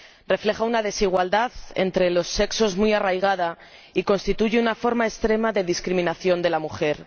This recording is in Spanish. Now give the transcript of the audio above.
Refleja una desigualdad entre los sexos muy arraigada y constituye una forma extrema de discriminación de la mujer.